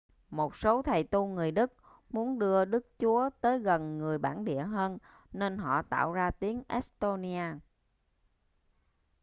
một số thầy tu người đức muốn đưa đức chúa tới gần người bản địa hơn nên họ tạo ra tiếng e-xtô-ni-a